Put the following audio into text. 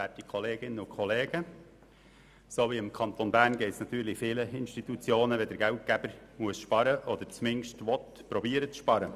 Wie dem Kanton Bern geht es natürlich vielen Institutionen, wenn der Geldgeber sparen muss oder zumindest versuchen will zu sparen.